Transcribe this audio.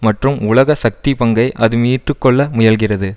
மற்றும் உலக சக்தி பங்கை அது மீட்டுக்கொள்ள முயல்கிறது